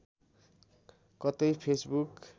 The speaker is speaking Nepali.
कतै फेसबुक